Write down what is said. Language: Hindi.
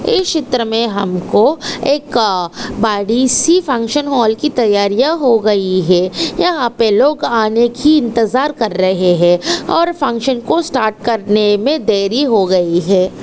एक चित्र में हमको एक अ बड़ी सी फंक्शन हॉल की तैयारियां हो गई हैं यहाँ पे लोग आने की इंतजार आने की इंतजार कर रहे है और फंक्शन को स्टार्ट करने में देरी हो गई है।